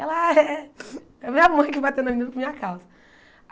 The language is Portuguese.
Ela ah é a minha mãe que bateu na menina por minha causa.